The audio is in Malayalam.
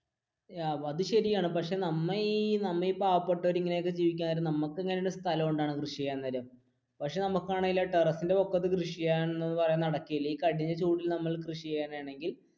അത് ശരിയാണ് പക്ഷെ നമ്മ ഈ പാവപ്പെട്ടവർ ഇങ്ങനെ ജീവിക്കാൻ നേരം പക്ഷെ നമുക്ക് ടെറസ് ഇന്റെ മുകളിൽ കൃഷി ചെയ്യാൻ എന്ന് പറയുന്നത് നടക്കുകയില്ല ഈ കഠിന ചൂടിൽ നമ്മൾ കൃഷിചെയ്യുകയാണെകിൽ